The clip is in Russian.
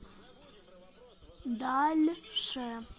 дальше